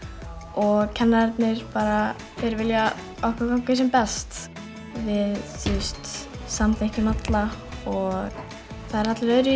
og kennararnir vilja að okkur gangi sem best við samþykkjum alla og það eru allir öðruvísi